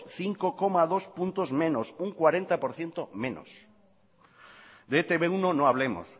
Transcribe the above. cinco coma dos puntos menos un cuarenta por ciento menos de e te be uno no hablemos